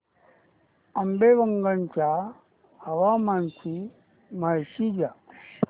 आंबेवंगन च्या हवामानाची माहिती द्या